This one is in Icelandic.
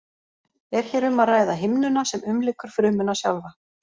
Er hér um að ræða himnuna sem umlykur frumuna sjálfa.